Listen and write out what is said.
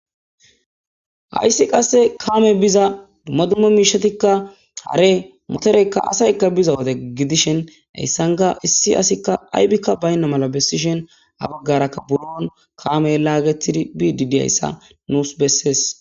hayssi qasse kaame biza dumma dumma miishetikka hare motoreykka asaykka biza wode gidishen hayssanka issi asikka aybikka baynna mala bessishen ha baggarakka buron kaamey laagetidi bididyayssa nuus bessees